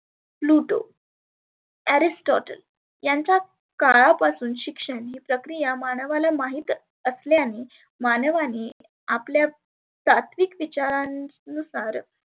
pluto, aristotul यांचा काळापासून शिक्षण ही प्रक्रीया मानवाला माहित असल्यानी मानवाने आपल्या सात्वीक विचारांनुसार